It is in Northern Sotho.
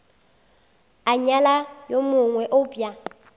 a nyala yo mongwe eupša